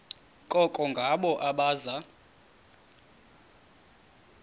koko ngabo abaza